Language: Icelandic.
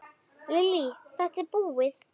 Lillý:. þetta búið?